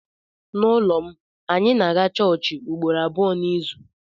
N’ụlọ m, anyị na-aga chọọchị ugboro abụọ n’izu.